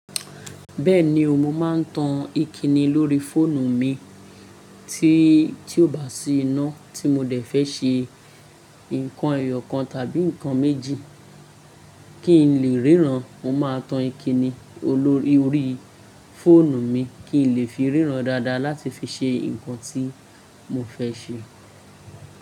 Bẹ́ẹ̀ni o, mo máa ń tan ìkíni lórí fóònù mi tí, tí ó bá sì iná tí mo dẹ̀ fẹ́ ṣe nǹkan ẹyọ kan tàbí ǹkan méjì kí n lè ríran, mo máa tan ìkíni olórí orí fóònù mi kí n lè fi ríran dáadáa láti fi ṣe nǹkan tí mo fẹ́ ṣe.